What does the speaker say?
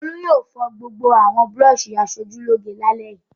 Olú yóò fọ gbogbo àwọn búrọ́ṣì aṣojúlóge lálẹ́ yìí!